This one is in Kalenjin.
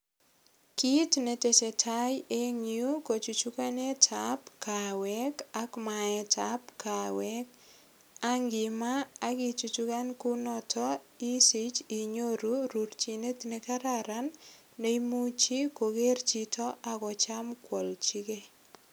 Kit netesetai eng yu kochuchukanetab kaweek ak maaetab kaweek ak imaa ak ichukan kunoto isich inyoru rurchinet nekararan neimuchi koger chito ak kocham kwalchigei.